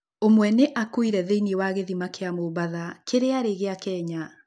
ũmwe nĩ akuire thĩiniĩ wa gĩthima kĩa Mombatha kĩrĩa arĩ gĩa Kenya.